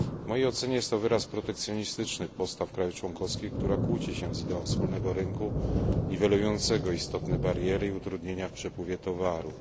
W mojej ocenie jest to wyraz protekcjonistycznych postaw krajów członkowskich, który kłóci się z ideą wspólnego rynku niwelującego istotne bariery i utrudnienia w przepływie towarów.